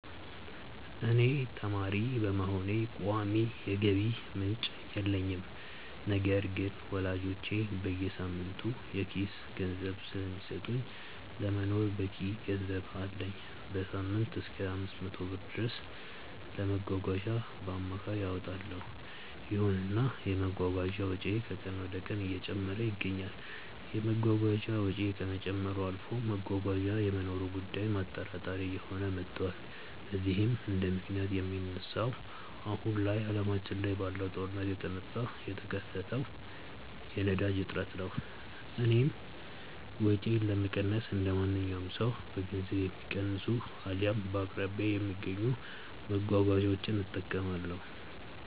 እኔ ተማሪ በመሆኔ ቋሚ የገቢ ምንጭ የለኝም። ነገር ግን ወላጆቼ በየሳምንቱ የኪስ ገንዘብ ስለሚሰጡኝ ለመኖር በቂ ገንዘብ አለኝ። በሳምንትም እሰከ 500 ብር ድረስ ለመጓጓዣ በአማካይ አወጣለው። ይሁንና የመጓጓዣ ወጪዬ ከቀን ወደቀን እየጨመረ ይገኛል። የመጓጓዣ ወጪው ከመጨመርም አልፎ መጓጓዣ የመኖሩ ጉዳይም አጠራጣሪ እየሆነ መቷል። ለዚህም እንደምክንያት የሚነሳው አሁን ላይ አለማችን ላይ ባለው ጦርነት የተነሳ የተከሰተው የነዳጅ እጥረት ነው። እኔም ወጪዬን ለመቀነስ እንደማንኛውም ሰው በገንዘብ የሚቀንሱ አልያም በአቅራቢያዬ በሚገኙ መጓጓዣዎች እጠቀማለሁ።